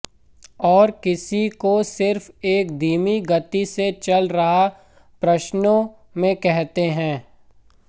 और किसी को सिर्फ एक धीमी गति से चल रहा है प्रश्नों में कहते हैं